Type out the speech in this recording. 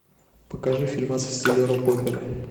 покажи фильмец в стиле рок опера